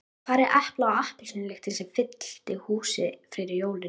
Hvar er epla- og appelsínulyktin sem fyllti húsið fyrir jólin?